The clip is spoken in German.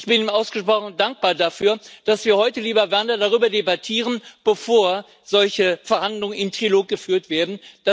Ich bin ihm ausgesprochen dankbar dafür, dass wir heute, lieber Werner, darüber debattieren, bevor solche Verhandlungen im Trilog geführt werden.